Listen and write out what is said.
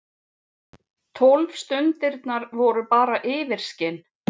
Tólf stundirnar voru bara yfirskin.